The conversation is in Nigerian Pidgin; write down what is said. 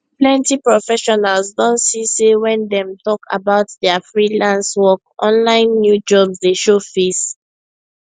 plenty professionals don see say when dem talk about dia freelance work online new jobs dey show face